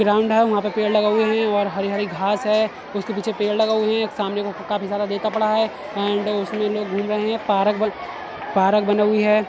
Ground है। वहाँ पे पेड़ लगे हुए हैं और हरी-हरी घास हैं। उसके पीछे पेड़ लगा हुए हैं। एक सामने काफी सारा पड़ा है एंड उसमें लोग घूम रहे हैं। पार्क बन पार्क बना हुई है।